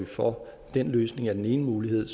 for den løsning er en mulighed